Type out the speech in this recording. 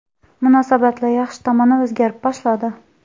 Munosabatlar yaxshi tomonga o‘zgara boshladi.